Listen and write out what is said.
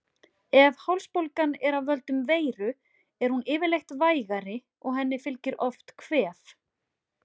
Ef hálsbólgan er af völdum veiru er hún yfirleitt vægari og henni fylgir oft kvef.